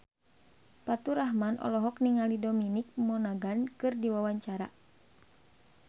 Faturrahman olohok ningali Dominic Monaghan keur diwawancara